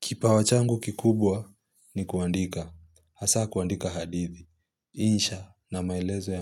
Kipawachangu kikubwa ni kuandika, hasa kuandika hadithi, insha na maelezo